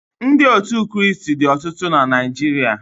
Ndị otu Krịịstị dị ọtụtụ na Naịjirịa